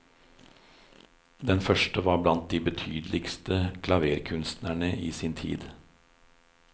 Den første var blant de betydeligste klaverkunstnere i sin tid.